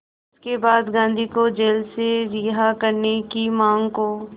इसके बाद गांधी को जेल से रिहा करने की मांग को